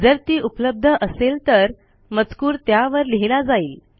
जर ती उपलब्ध असेल तर मजकूर त्यावर लिहिला जाईल